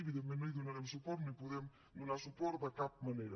evidentment no hi donarem suport no hi podem donar suport de cap manera